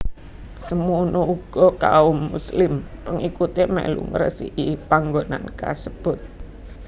Semono uga kaum Muslim pengikuté mèlu ngresiki panggonan kasebut